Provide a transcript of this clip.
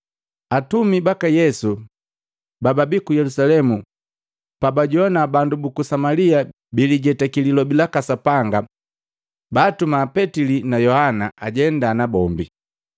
Atumi baka Yesu bababi ku Yelusalemu pabajowana bandu buku Samalia bilijetaki lilobi laka Sapanga, baatuma Petili na Yohana ajendaa nabombi.